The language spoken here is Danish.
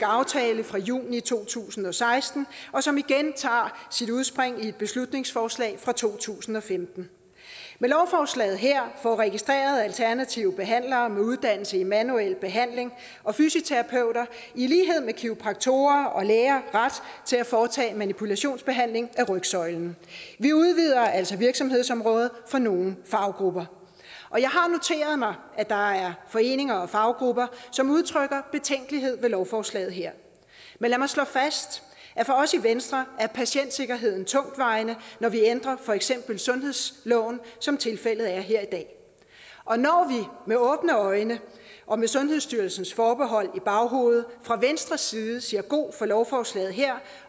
aftale fra juni to tusind og seksten som igen tager sit udspring i et beslutningsforslag fra to tusind og femten med lovforslaget her får registrerede alternative behandlere med uddannelse i manuel behandling og fysioterapeuter i lighed med kiropraktorer og læger ret til at foretage manipulationsbehandling af rygsøjlen vi udvider altså virksomhedsområdet for nogle faggrupper og jeg har noteret mig at der er foreninger og faggrupper som udtrykker betænkelighed ved lovforslaget her men lad mig slå fast at for os i venstre er patientsikkerheden tungtvejende når vi ændrer for eksempel sundhedsloven som tilfældet er her i dag og når vi med åbne øjne og med sundhedsstyrelsens forbehold i baghovedet fra venstres side siger god for lovforslaget her